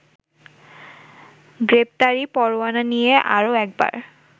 গ্রেপ্তারি পরোয়ানা নিয়ে আরও একবার